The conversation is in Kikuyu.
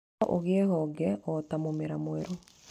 Na ũgĩe honge o ta mũmera mwerũ.